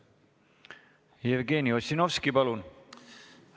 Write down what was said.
Jevgeni Ossinovski, palun!